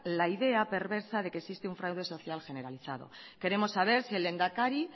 la idea perversa de que existe un fraude social generalizado queremos saber si el lehendakari